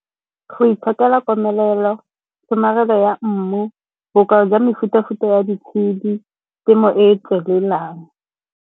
Go itshokela komelelo, tshomarelo ya mmu, bokao jwa mefuta-futa ya ditshedi, temo e e tswelelang.